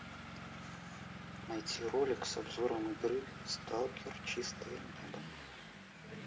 найти ролик с обзором игры сталкер чистое небо